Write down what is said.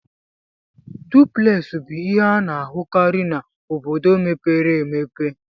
Duplex bụ ihe a na-ahụkarị n'obodo mepere emepe.